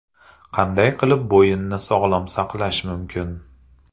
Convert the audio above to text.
Qanday qilib bo‘yinni sog‘lom saqlash mumkin?.